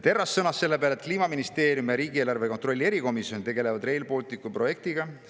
Terras sõnas selle peale, et Kliimaministeerium ja riigieelarve kontrolli erikomisjon tegelevad Rail Balticu projektiga.